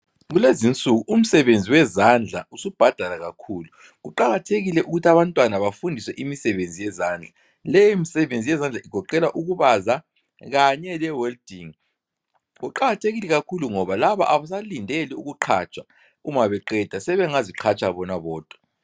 Kulezinsuku umsebenzi wezandla usubhadala kakhulu. Kuqakathekile ukuth' abantwana bafundiswe imisebenzi yezandla. Leyi msebenzi yezandla igoqela ukubaza kanye le welding. Kuqakathekile kakhulu ngoba labo abasalindeli ukuqhatshwa uma beqeda, sebengaziqhatsha bona bodwa.